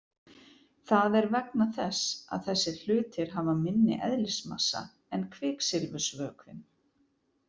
Það er vegna þess að þessir hlutir hafa minni eðlismassa en kviksilfursvökvinn.